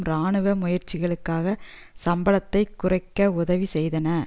இராணுவ முயற்சிகளுக்காக சம்பளத்தை குறைக்க உதவி செய்தன